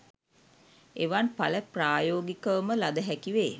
එවන් ඵල ප්‍රායෝගිකවම ලද හැකි වේ.